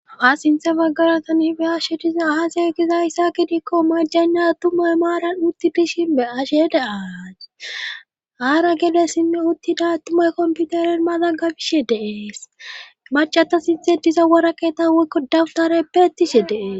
haa sinthe baggaratan hife hashe diza ahasey gizayssa gidikko majanna tumay maaran utti dishin be ashe daaaas aara gelessinne uttida tumay komputaren mazangabishe dees macata sinthe diza wora keeta weykko dawutara peretishe dees